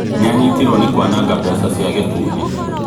Nĩ anyitirwo nĩ kũanaga mbeca cia gĩkundi